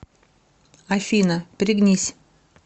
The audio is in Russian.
афина пригнись